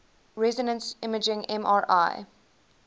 resonance imaging mri